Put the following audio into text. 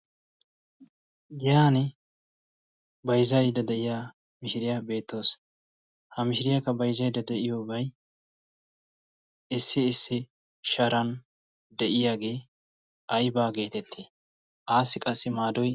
yan bayzayidda de'iya mishiriyaa beettoos. ha mishiriyaakka bayzaida deyiyoobai issi issi sharan de'iyaagee aybaa geetettii? aassi qassi maadees